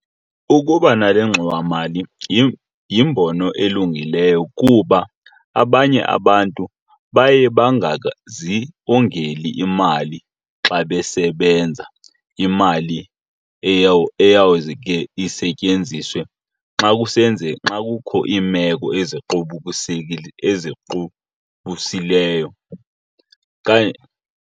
Ukuba nale ngxowamali yimbono elungileyo kuba abanye abantu baye bangazongeli imali xa besebenza imali eyawuze ke isetyenziswe xa kukho iimeko eziqubulisileyo okanye.